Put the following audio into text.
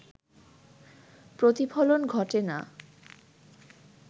প্রতিফলন ঘটে না